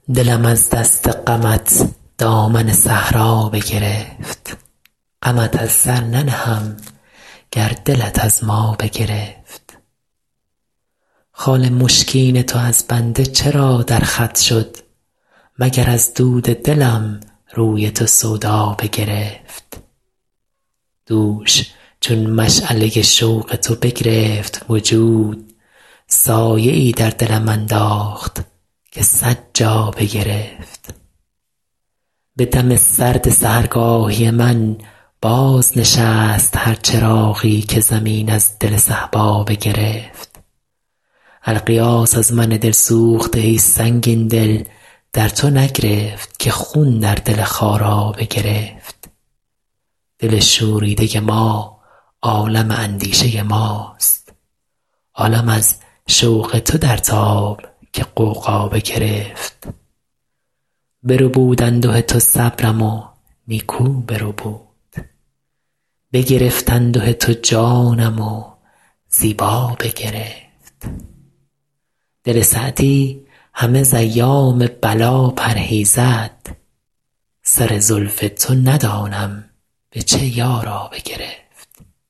دلم از دست غمت دامن صحرا بگرفت غمت از سر ننهم گر دلت از ما بگرفت خال مشکین تو از بنده چرا در خط شد مگر از دود دلم روی تو سودا بگرفت دوش چون مشعله شوق تو بگرفت وجود سایه ای در دلم انداخت که صد جا بگرفت به دم سرد سحرگاهی من بازنشست هر چراغی که زمین از دل صهبا بگرفت الغیاث از من دل سوخته ای سنگین دل در تو نگرفت که خون در دل خارا بگرفت دل شوریده ما عالم اندیشه ماست عالم از شوق تو در تاب که غوغا بگرفت بربود انده تو صبرم و نیکو بربود بگرفت انده تو جانم و زیبا بگرفت دل سعدی همه ز ایام بلا پرهیزد سر زلف تو ندانم به چه یارا بگرفت